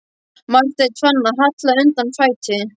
Marteinn fann að hallaði undan fæti.